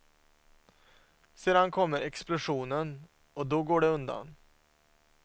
Sedan kommer explosionen, och då går det undan.